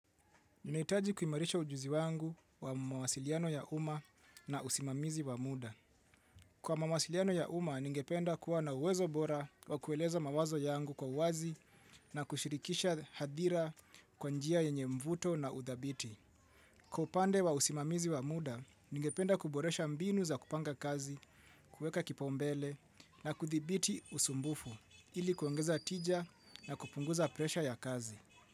Nihitaji kuimarisha ujuzi wangu wa mawasiliano ya umma na usimamizi wa muda. Kwa mawasiliano ya umma, ningependa kuwa na uwezo bora wa kueleza mawazo yangu kwa uwazi na kushirikisha hadhira kwa njia yenye mvuto na udhabiti. Kwa upande wa usimamizi wa muda, ningependa kuboresha mbinu za kupanga kazi, kueka kipau mbele na kuthibiti usumbufu ili kuongeza tija na kupunguza presha ya kazi.